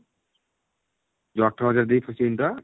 ଯଉ ଅଠର ହଜାର ଦେଇକି ଫସିଯାଇନି ତ?